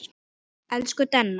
Elsku Denna.